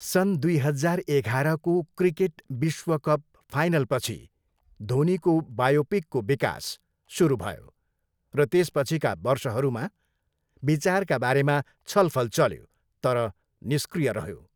सन् दुई हजार एघारको क्रिकेट विश्वकप फाइनलपछि धोनीको बायोपिकको विकास सुरु भयो र त्यसपछिका वर्षहरूमा विचारका बारेमा छलफल चल्यो तर निष्क्रिय रह्यो।